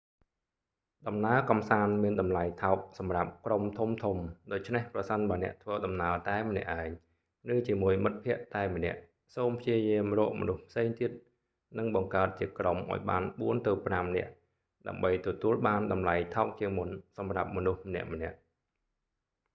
ដំណើរកម្សាន្តមានតម្លៃថោកសម្រាប់ក្រុមធំៗ ដូច្នេះប្រសិនបើអ្នកធ្វើដំណើរតែម្នាក់ឯង ឬជាមួយមិត្តភក្តិតែម្នាក់ សូមព្យាយាមរកមនុស្សផ្សេងទៀត និងបង្កើតជាក្រុមឱ្យបានបួនទៅប្រាំនាក់ ដើម្បីទទួលបានតម្លៃថោកជាងមុនសម្រាប់មនុស្សម្នាក់ៗ